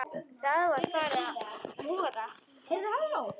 Það var farið að vora.